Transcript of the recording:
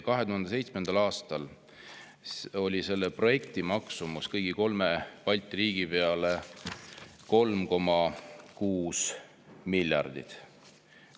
2007. aastal oli selle projekti maksumus kõigi kolme Balti riigi peale 3,6 miljardit.